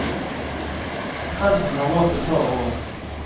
Trenden har vart et par år.